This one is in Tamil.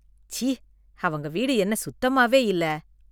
ச்சீ! அவங்க வீடு என்ன சுத்தமாவே இல்ல.